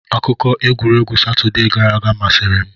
Akụkọ egwuregwu Satọde gara aga masịrị m.